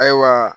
Ayiwa